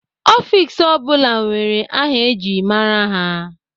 Ọfiks ọ bụla nwere aha eji mara ha.